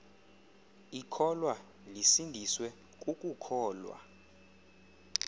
ikholwa lisindiswe kukukholwa